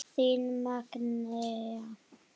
Þín Magnea.